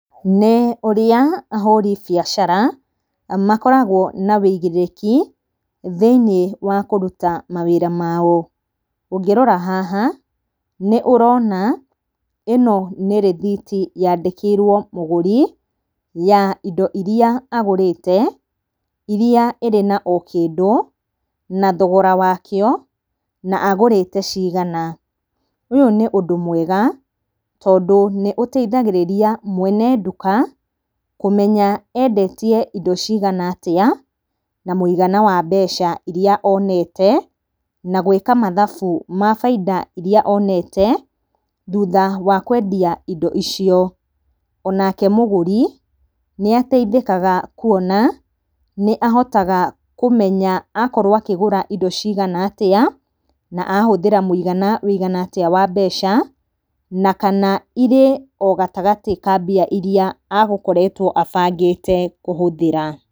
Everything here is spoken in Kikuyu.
Nĩ ũrĩa ahũri biacara makoragũo na wĩigĩrĩrĩki thĩiniĩ wa kũruta mawĩra mao. Ũngĩrora haha, nĩ ũrona ĩno nĩ rithiti yandĩkĩirwo mũgũri ya indo iria agũrĩte, iria ĩrĩ onakĩndũ na thogora wakĩo na agũrĩte cigana. Ũyũ nĩ ũndũ mwega, tondũ nĩ ũteithagĩrĩragia mwene ndũka kũmenya endetie indo ciga atĩa na mũigana wa mbeca iria onete na gũika mathabu ma bainda ĩrĩa onete thutha wakũendia indo icio. Onake mũgũri nĩateithĩkaga kuona nĩahotaga kũmenya akorwo akĩgũra indo cigana atĩa, na ahũthĩra mũigana wĩigana atĩa wa mbeca na kana irĩ o gatagatĩ ka mbia iria agũkoretwo abangĩte kũhũthĩra.